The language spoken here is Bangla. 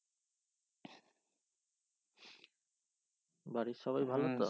বাড়ির সবাই ভালো তো